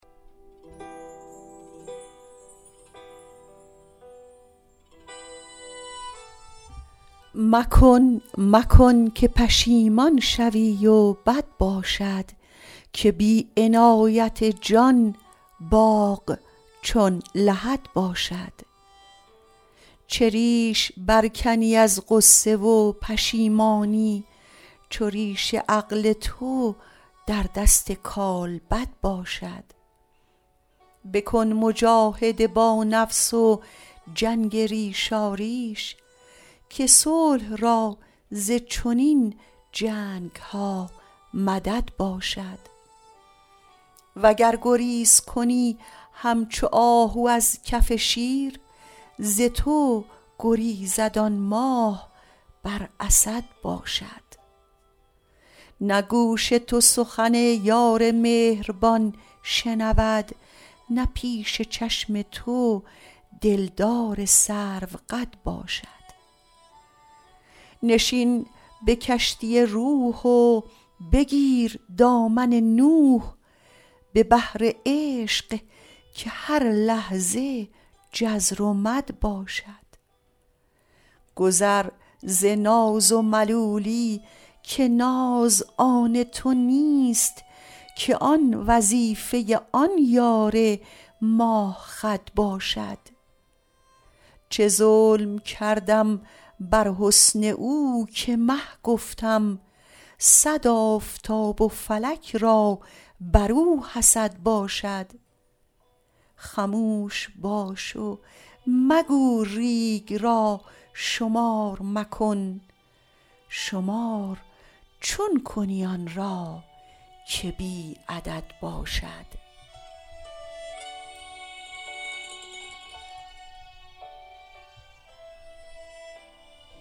مکن مکن که پشیمان شوی و بد باشد که بی عنایت جان باغ چون لحد باشد چه ریشه برکنی از غصه و پشیمانی چو ریش عقل تو در دست کالبد باشد بکن مجاهده با نفس و جنگ ریشاریش که صلح را ز چنین جنگ ها مدد باشد وگر گریز کنی همچو آهو از کف شیر ز تو گریزد آن ماه بر اسد باشد نه گوش تو سخن یار مهربان شنود نه پیش چشم تو دلدار سروقد باشد نشین به کشتی روح و بگیر دامن نوح به بحر عشق که هر لحظه جزر و مد باشد گذر ز ناز و ملولی که ناز آن تو نیست که آن وظیفه آن یار ماه خد باشد چه ظلم کردم بر حسن او که مه گفتم صد آفتاب و فلک را بر او حسد باشد خموش باش و مگو ریگ را شمار مکن شمار چون کنی آن را که بی عدد باشد